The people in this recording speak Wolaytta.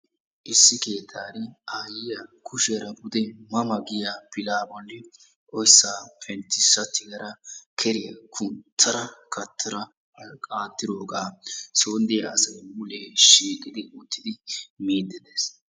Issi keettan aayiya kushiyaara pude ma ma giyaa pilla bolli oyssa penttisa tigara keriya kunttara kattara qattirooga soon diyaa asay mulee shiiqidi uttidi miide de'ees.